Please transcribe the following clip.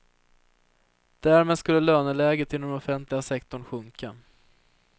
Därmed skulle löneläget inom den offentliga sektorn sjunka.